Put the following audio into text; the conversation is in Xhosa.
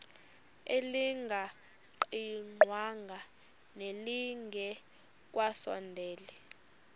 elingaqingqwanga nelinge kasondeli